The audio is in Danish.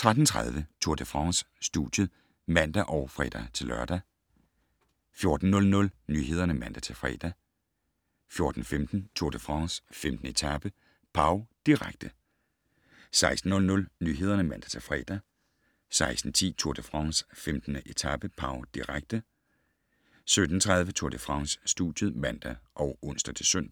13:30: Tour de France: Studiet (man og fre-lør) 14:00: Nyhederne (man-fre) 14:15: Tour de France: 15. etape - Pau, direkte 16:00: Nyhederne (man-fre) 16:10: Tour de France: 15. etape - Pau, direkte 17:30: Tour de France: Studiet (man og ons-søn)